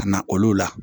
Ka na olu la